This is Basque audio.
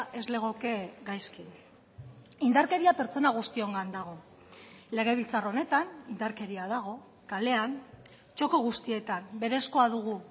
ez legoke gaizki indarkeria pertsona guztiongan dago legebiltzar honetan indarkeria dago kalean txoko guztietan berezkoa dugu